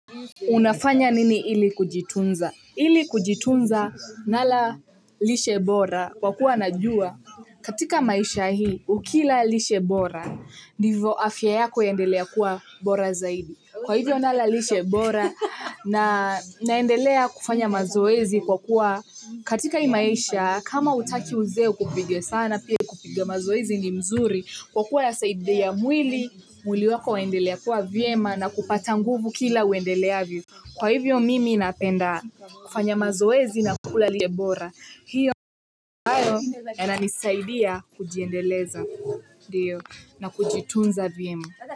Unafanya nini illi kujitunza, ili kujitunza nala lishe bora kwa kuwa najua katika maisha hii ukila lishe bora, ndivyo afya yako yaendelea kuwa bora zaidi kwa hivyo nala lishe bora na naendelea kufanya mazoezi kwa kuwa katika hii maisha kama hutaki uzee ukupige sana pia kupiga mazoezi ni mzuri kwa kuwa yasaidia mwili mwili wako waendelea kuwa vyema na kupata nguvu kila uendeleavyo. Kwa hivyo mimi napenda kufanya mazoezi na kula lishe bora hiyo, ha na nisaidia kujiendeleza na kujitunza viemu.